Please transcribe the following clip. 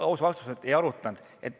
Aus vastus on, et ei arutanud.